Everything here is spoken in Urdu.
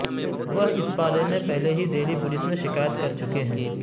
وہ اس بارے میں پہلے ہی دہلی پولس میں شکایت کر چکے ہیں